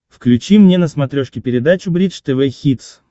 включи мне на смотрешке передачу бридж тв хитс